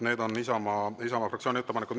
Need on Isamaa fraktsiooni ettepanekud.